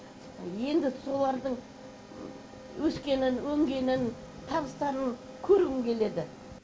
енді солардың өскенін өнгенін табыстарын көргім келеді